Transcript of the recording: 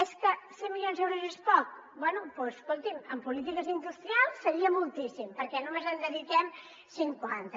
és que cent milions d’euros és poc bé doncs escolti’m en polítiques industrials seria moltíssim perquè només n’hi dediquem cinquanta